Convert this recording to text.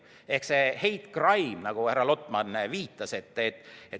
Ehk see hate crime, nagu härra Lotman viitas.